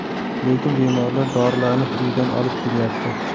Lekin bemorlar dorilarni uyidan olib kelyapti.